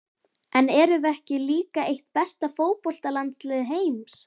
En erum við ekki líka eitt besta fótboltalandslið heims?